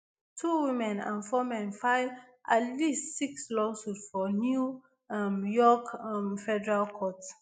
two women and four men file at least six lawsuits for new um york um federal court.